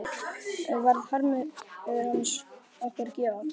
Varð harmur hans okkar gæfa?